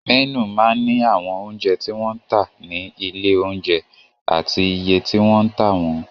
Mẹ́nù máa ń ní àwọn oúnjẹ tí wọ́n ń tà ní ilé-oúnjẹ àti iye tí wọ́n ń tà wọ́n.